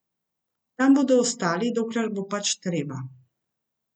Tam bodo ostali, dokler bo pač treba.